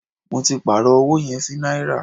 Mó tí pàárọ̀ ọwọ yẹn sí náírà.